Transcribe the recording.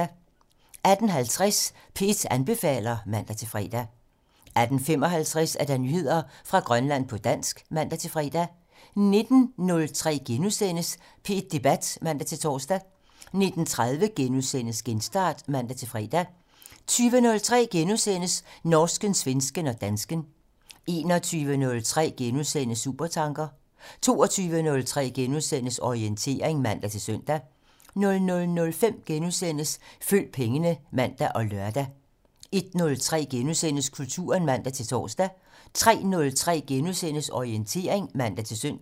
18:50: P1 anbefaler (man-fre) 18:55: Nyheder fra Grønland på dansk (man-fre) 19:03: P1 Debat *(man-tor) 19:30: Genstart *(man-fre) 20:03: Norsken, svensken og dansken *(man) 21:03: Supertanker *(man) 22:03: Orientering *(man-søn) 00:05: Følg pengene *(man og lør) 01:03: Kulturen *(man-tor) 03:03: Orientering *(man-søn)